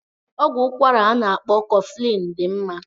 Ọgwụ ụkwara a na-akpọ koflin dị mma.